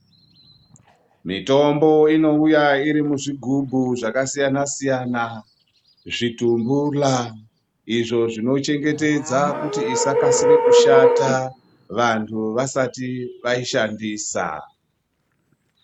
Mitombo inouya iri muzvigubhu zvakasiyana siyana zvitumbula izvo zvinochengetedza kuti isakasira kushata vantu vasati vaishandisa .